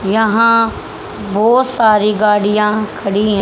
यहां बहुत सारी गाड़ियां खड़ी हैं।